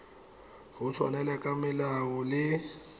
go tshwaela ka melao le